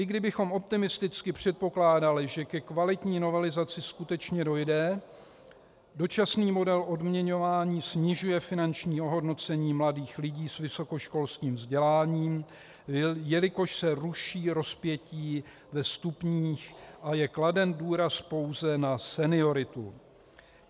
I kdybychom optimisticky předpokládali, že ke kvalitní novelizaci skutečně dojde, dočasný model odměňovaní snižuje finanční ohodnocení mladých lidí s vysokoškolským vzděláním, jelikož se ruší rozpětí ve stupních a je kladen důraz pouze na senioritu.